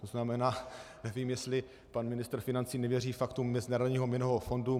To znamená, nevím, jestli pan ministr financí nevěří faktům Mezinárodního měnového fondu.